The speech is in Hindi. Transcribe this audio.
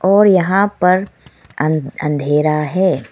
और यहां पर अंध अंधेरा है।